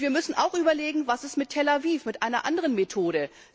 Wir müssen auch überlegen, was mit Tel Aviv ist, mit einer anderen Methode.